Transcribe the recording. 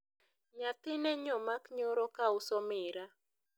nyathine nyomak nyoro kauso miraa